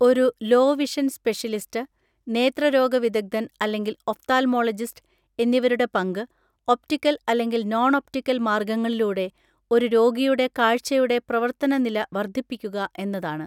ഒരു low vision specialist, നേത്രരോഗവിദഗ്ദ്ധൻ അല്ലെങ്കിൽ ഒഫ്താൽമോളജിസ്റ്റ് എന്നിവരുടെ പങ്ക്, ഒപ്റ്റിക്കൽ അല്ലെങ്കിൽ നോൺ ഒപ്റ്റിക്കൽ മാർഗങ്ങളിലൂടെ ഒരു രോഗിയുടെ കാഴ്ചയുടെ പ്രവർത്തന നില വർദ്ധിപ്പിക്കുക എന്നതാണ്.